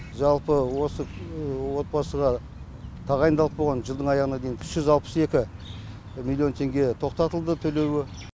жалпы осы отбасыға тағайындалып қойған жылдың аяғына дейін үш жүз алпыс екі миллион теңге тоқтатылды төлеуі